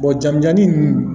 jamujannin ninnu